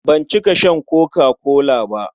Ban cika shan koka-kola ba.